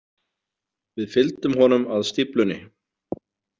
Við fylgdum honum að stíflunni.